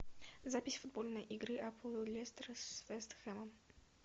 запись футбольной игры апл лестер с вест хэмом